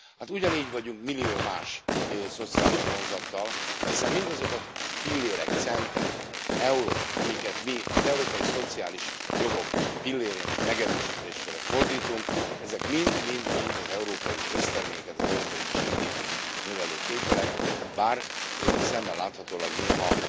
Hát ugyanígy vagyunk millió más szociális vonzattal, hiszen mindazok a fillérek, centek, eurók, amiket mi az európai szociális jogok pillérének megerősítésére fordítunk, ezek mind mind mind az európai összterméket, az európai GDP t növelő tételek, bár szemmel láthatólag néha